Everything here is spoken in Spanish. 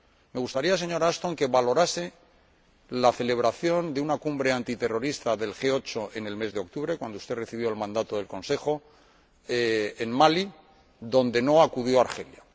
Me gustaría, señora Ashton, que valorase la celebración de la cumbre antiterrorista del G 8 en el mes de octubre ―cuando usted recibió el mandato del Consejo― en Malí, a la que no acudió Argelia.